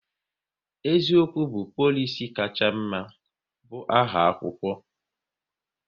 *Eziokwu bụ polisi kacha mma"bu aha akwụkwọ